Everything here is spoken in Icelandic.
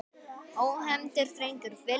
Ónefndur drengur: Viljið þið?